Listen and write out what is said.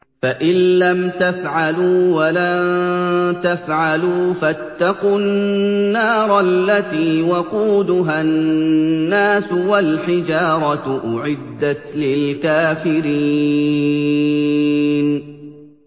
فَإِن لَّمْ تَفْعَلُوا وَلَن تَفْعَلُوا فَاتَّقُوا النَّارَ الَّتِي وَقُودُهَا النَّاسُ وَالْحِجَارَةُ ۖ أُعِدَّتْ لِلْكَافِرِينَ